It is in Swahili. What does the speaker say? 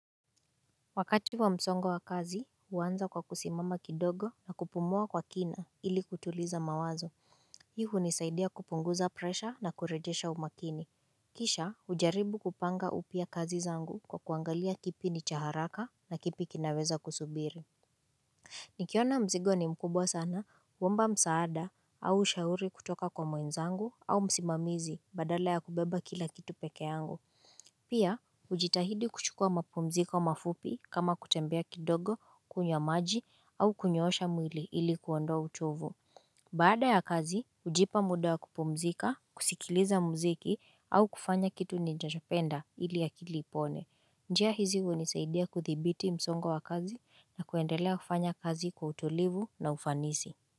Wakati wa msongo wa kazi huanza kwa kusimama kidogo na kupumua kwa kina ili kutuliza mawazo hii hunisaidia kupunguza presha na kurejesha umakini kisha hujaribu kupanga upya kazi zangu kwa kuangalia kipi ni cha haraka na kipi kinaweza kusubiri Nikiona mzigo ni mkubwa sana huomba msaada au ushauri kutoka kwa mwenzangu au msimamizi badala ya kubeba kila kitu peke yangu Pia, hujitahidi kuchukua mapumziko mafupi kama kutembea kidogo kunywa maji au kunyoosha mwili ili kuondoa uchovu Baada ya kazi, hujipa muda wa kupumzika, kusikiliza mziki au kufanya kitu ninachopenda ili akili ipone njia hizi hunisaidia kuthibiti msongo wa kazi na kuendelea kufanya kazi kwa utulivu na ufanisi.